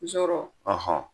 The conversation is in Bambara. Zɔrɔ